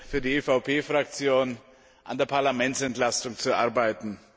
für die EVP Fraktion an der Parlamentsentlastung zu arbeiten.